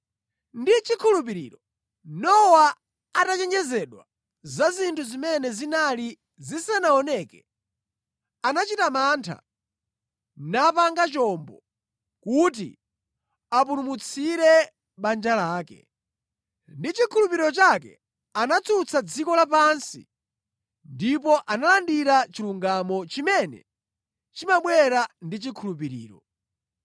Ndi chikhulupiriro, Nowa atachenjezedwa za zinthu zimene zinali zisanaoneke, anachita mantha napanga chombo kuti apulumutsire banja lake. Ndi chikhulupiriro chake anatsutsa dziko lapansi ndipo analandira chilungamo chimene chimabwera ndi chikhulupiriro.